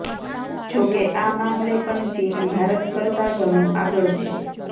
જોકે આ મામલે પણ ચીન ભારત કરતાં ઘણું આગળ છે